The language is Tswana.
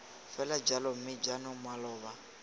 fela jalo mme jaanong maloba